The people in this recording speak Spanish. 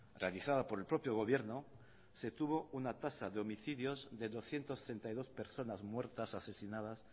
realizada por el propio gobierno se tuvo una tasa de homicidios de doscientos treinta y dos personas muertas asesinadas